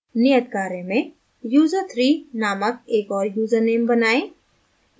नियत कार्य में user3 named एक और यूज़रनेम बनाएं